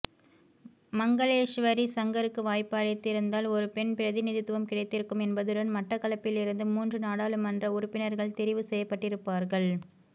மங்களேஸ்வரி சங்கருக்கு வாய்ப்பு அளிதிருந்தால் ஒரு பெண் பிரதிநிதித்துவம் கிடைத்திருக்கும் என்பதுடன் மட்டக்களப்பிலிருந்து மூன்று நாடாளுமன்ற உறுப்பினர்கள் தெரிவு செய்யப்பட்டிருப்பார்கள்